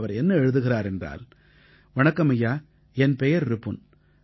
அவர் என்ன எழுதுகிறார் என்றால் வணக்கம் ஐயா என் பெயர் ரிபுன்